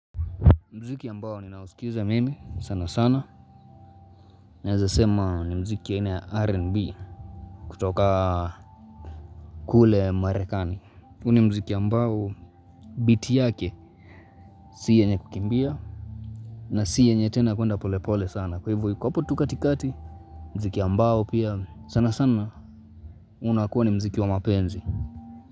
Mziki ambao ni nausikiza mimi sana sana. Niaezasema ni mziki ya aina RNB kutoka kule marekani. Huu ni mziki ambao biti yake si yenye kukimbia. Na si yenye tena kuenda polepole sana. Kwa hivyo iko hapo tu katikati. Mziki ambao pia sana sana unakuwa ni mziki wa mapenzi.